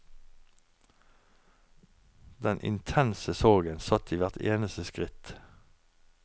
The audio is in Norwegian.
Den intense sorgen satt i hvert eneste skritt.